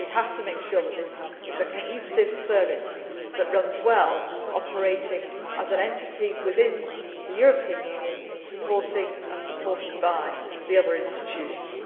what we want to do. We have to make sure that this is a cohesive service that runs well, operating as an entity within the European Union, supporting and being supported by the